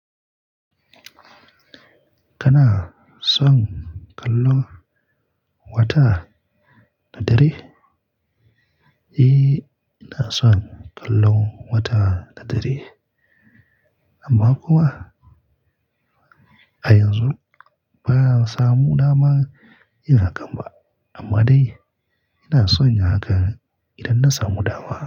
Kana son kallon wata da dare? Eee, ina son kallon wata da dare. Amma kuma a yanzu ba'a samu dama yin hakan ba. Amma dai ina son yin haka idan na samu dama.